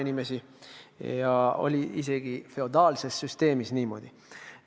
See oli isegi feodaalses süsteemis niimoodi.